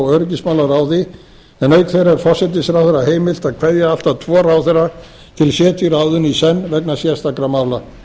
og öryggismálaráði en auk þeirra er forsætisráðherra heimilt að kveðja allt að tvo ráðherra til setu í ráðinu í senn vegna sérstakra mála